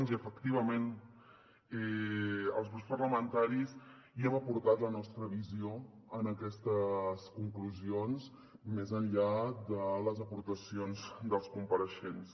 i efectivament els grups parlamentaris hi hem aportat la nostra visió en aquestes conclusions més enllà de les aportacions dels compareixents